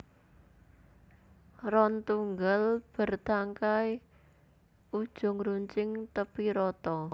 Ron tunggal bértangkai ujung runcing tépi rata